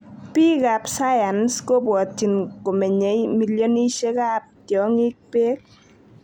Piik ap.sayans kopwotchin komenyei millionishek ap tyongik peek